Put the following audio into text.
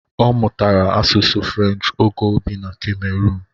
Ọ mụtara asusu Frenchi ógè o bị na Ka-meroon.